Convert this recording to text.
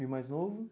E o mais novo?